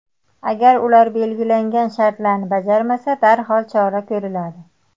Agar ular belgilangan shartlarni bajarmasa, darhol chora ko‘riladi.